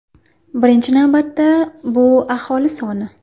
Birinchi navbatda, bu aholi soni.